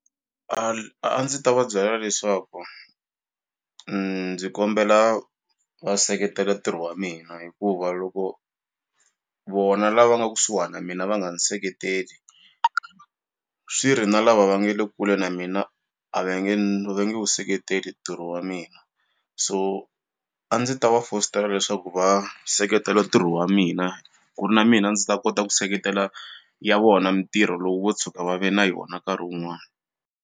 A ndzi ta va byela leswaku ndzi kombela va seketela ntirho wa mina hikuva loko vona lava nga kusuhani na mina va nga ni seketeli swi ri na lava va nge le kule na mina a va nge ni ve nge wu seketeli ntirho wa mina so a ndzi ta va fositela leswaku va seketela ntirho wa mina ku ri na mina ndzi ta kota ku seketela ya vona mintirho loko vo tshuka va ve na yona nkarhi wun'wani.